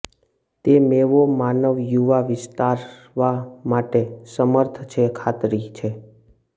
તે મેવો માનવ યુવા વિસ્તારવા માટે સમર્થ છે ખાતરી છે